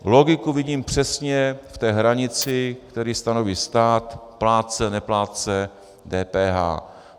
Logiku vidím přesně v té hranici, kterou stanoví stát: plátce - neplátce DPH.